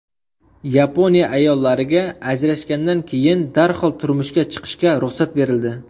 Yaponiya ayollariga ajrashgandan keyin darhol turmushga chiqishga ruxsat berildi.